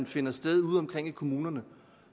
finder sted ude omkring i kommunerne